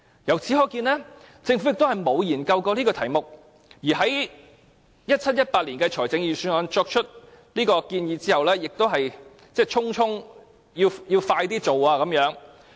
"由此可見，政府沒有研究此題目，而 2017-2018 年度的財政預算案作出此建議之後，亦只想盡快完成建議。